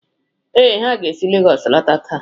Ee, ha ga-esi Lagos lọta taa.